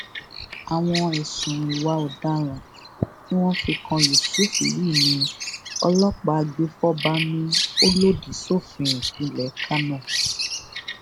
àwọn ẹsùn ìwà ọdaràn tí wọn fi kan yusuff yìí ní ọlọpàá agbèfọba ni ó lòdì sófin ìpínlẹ kánò